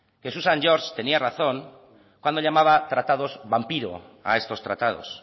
que susan george tenía razón cuando llamaba tratados vampiro a estos tratados